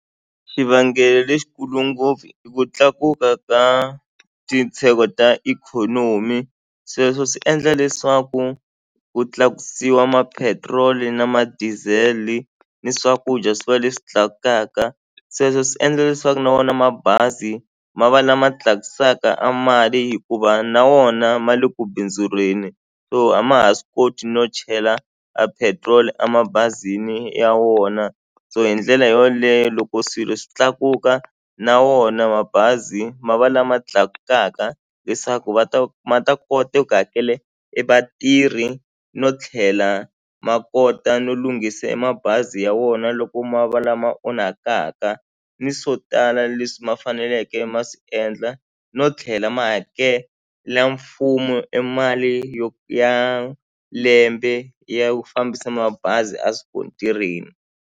Xivangelo lexikulu ngopfu i ku tlakuka ka ta ikhonomi sweswo swi endla leswaku ku tlakusiwa mapetiroli ni madiesel ni swakudya swi va leswi tlakukaka sweswe swi endla leswaku na wona mabazi ma va lama tlakusaka a mali hikuva na wona ma le ku bindzureni so a ma ha swi koti no chela a petrol emabazini ya wona so hi ndlela yoleyo loko swilo swi tlakuka na wona mabazi ma va lama tlakukaka leswaku va ta ma ta kota eku hakele e vatirhi no tlhela ma kota no lunghise e mabazi ya wona loko ma va lama onhakaka ni swo tala leswi ma faneleke ma swi endla no tlhela ma hakela mfumo e mali yo ya lembe ya ku fambisa mabazi a swikontirini.